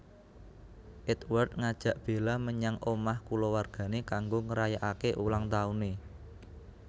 Édward ngajak Bella menyang omah kulawargané kanggo ngrayakaké ulang tauné